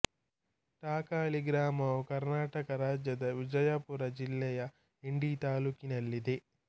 ಟಾಕಳಿ ಗ್ರಾಮವು ಕರ್ನಾಟಕ ರಾಜ್ಯದ ವಿಜಯಪುರ ಜಿಲ್ಲೆಯ ಇಂಡಿ ತಾಲ್ಲೂಕಿನಲ್ಲಿದೆ